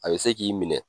A bɛ se k'i minɛ